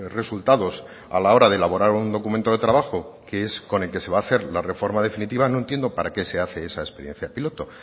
resultados a la hora de elaborar un documento de trabajo que es con el que se va a hacer la reforma definitiva no entiendo para qué se hace esa experiencia piloto